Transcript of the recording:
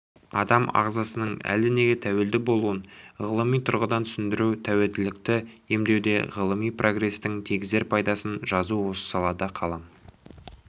адам ағзасының әлденеге тәуелді болуын ғылыми тұрғыдан түсіндіру тәуелділікті емдеуде ғылыми прогрестің тигізер пайдасын жазу осы салада қалам